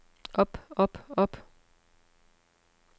op op op